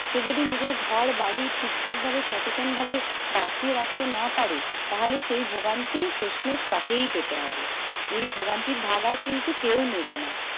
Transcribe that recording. সে যদি নিজের ঘর বাড়ি ঠিক ঠাক ভাবে সচেতনভাবে বাঁচিয়ে রাখতে না পারে, তাহলে সেই ভোগান্তি শেষমেষ তাকেই পেতে হবে। এই ভোগান্তির ভাগ আর কিন্তু আর কেও নেবে না।